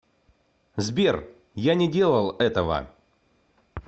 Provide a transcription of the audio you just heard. сбер я не делал этого